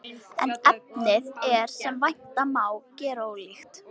En efnið er, sem vænta má, gerólíkt.